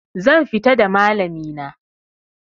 Zan fita da malami na